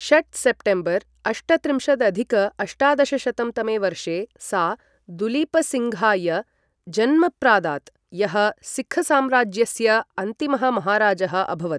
षट् सेप्टेम्बर् अष्टत्रिंशदधिक अष्टादशशतं तमे वर्षे, सा दुलीपसिङ्घाय जन्म प्रादात्, यः सिक्खसाम्राज्यस्य अन्तिमः महाराजः अभवत्।